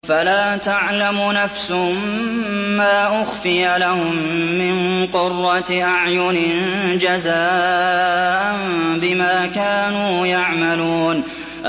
فَلَا تَعْلَمُ نَفْسٌ مَّا أُخْفِيَ لَهُم مِّن قُرَّةِ أَعْيُنٍ جَزَاءً بِمَا كَانُوا يَعْمَلُونَ